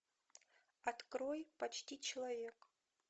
открой почти человек